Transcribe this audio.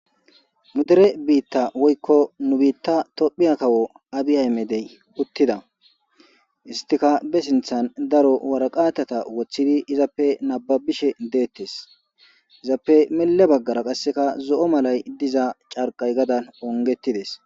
nu dere biitta woykko nu biitta tophiya kawo abiy aymedey uttida istika be sinthan daro waraqatata woththidi izappe nababishe deettes izappe mille baggara qasseka zo7o malay diza carqay gadan ongetides